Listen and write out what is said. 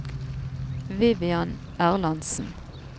Vivian Erlandsen